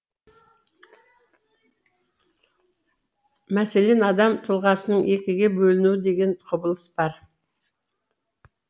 мәселен адам тұлғасының екіге бөлінуі деген құбылыс бар